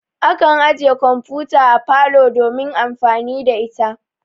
Akan ajiye kamfuta a parlor domin amfani da ita.